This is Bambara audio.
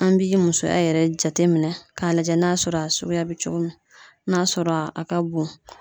An bi musoya yɛrɛ jateminɛ k'a lajɛ n'a sɔrɔ a suguya be cogo min n'a sɔrɔ a ka bon